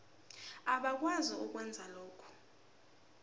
abakwazi ukwenza lokhu